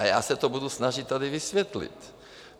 A já se to budu snažit tady vysvětlit.